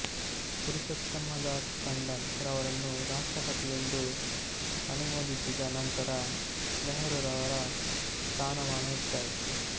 ಪುರುಷೋತ್ತಮ್ಮ ದಾಸ್ ತಂಡನ್ ರವರನ್ನು ರಾಷ್ಟ್ರಪತಿಯೆಂದು ಅನುಮೋದಿಸಿದ ನಂತರ ನೆಹರುರವರ ಸ್ಥಾನಮಾನ ಹೆಚ್ಚಾಯಿತು